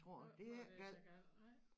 Så var det ikke så gal nej